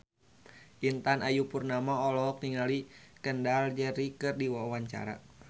Intan Ayu Purnama olohok ningali Kendall Jenner keur diwawancara